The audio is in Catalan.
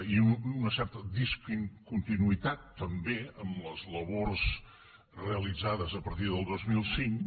i una certa discontinuïtat també en les labors realitzades a partir del dos mil cinc